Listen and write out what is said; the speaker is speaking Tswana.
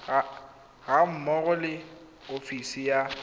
ga mmogo le ofisi ya